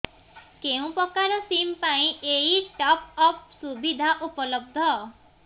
କେଉଁ ପ୍ରକାର ସିମ୍ ପାଇଁ ଏଇ ଟପ୍ଅପ୍ ସୁବିଧା ଉପଲବ୍ଧ